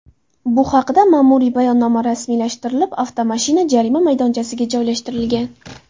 Bu haqida ma’muriy bayonnoma rasmiylashtirilib, avtomashina jarima maydonchasiga joylashtirilgan.